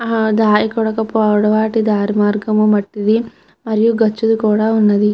ఆ దారి కూడక పోవడం వాటి దారి మార్గము మట్టిది మరియు గచ్చుది కూడా ఉన్నది.